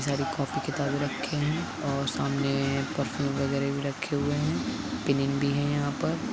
Copy किताबे रखे है और सामने पर्फुम वगैरह भी रख्खे हुवे है। पिन इन भी है यहाँ पर --